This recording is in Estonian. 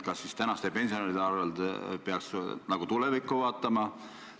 Kas siis praeguste pensionäride arvel peab tulevikku vaatama?